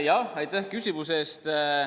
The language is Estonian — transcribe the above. Jah, aitäh küsimuse eest!